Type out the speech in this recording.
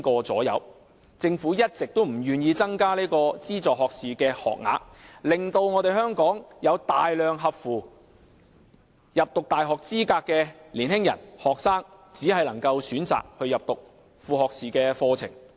政府一直不願意增加資助學士學額，令香港有大量符合入讀大學資格的年輕學生只能選擇入讀副學士課程。